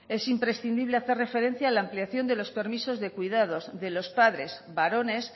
es imprescindible hacer referencia a la ampliación de los permisos de cuidados de los padres varones